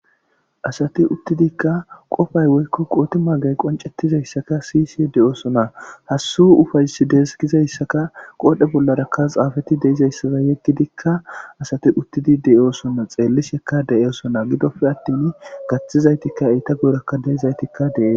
Asati uttidikka qofay woykko qooti maagay qoncettizayssaka siy sie deyoosona hassuh ufays deesgizayssaka qoodhe bollarakka xaafati deizayssaza yeggidikka asati uttidi deyoosona xeellishekka deyosona gidope attin gaththizaytikka eyita gorakka deezaytikka deee.